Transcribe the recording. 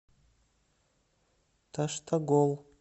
таштагол